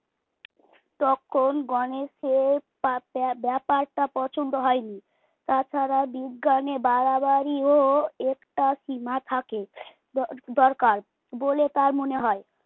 তখন গণেশের ব্যাপারটা পছন্দ হয়নি। তাছাড়া বিজ্ঞানে বাড়াবাড়িরও একটা সীমা থাকে দরকার বলে তার মনে হয়।